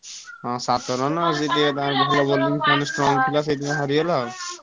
ହଁ ସାତ run ଆଉ ସେ ଟିକେ ତାଙ୍କ ଭଲ bowling ସେମାନେ strong ପିଲା ସେଇଥିପାଇଁ ହାରିଗଲ ଆଉ ।